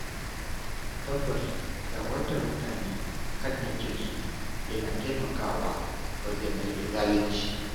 Tabbas shawartar mutane kan haƙƙinsu yana taimakawa wajen rage zalunci.